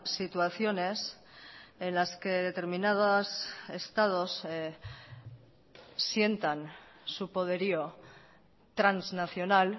situaciones en las que determinados estados sientan su poderío transnacional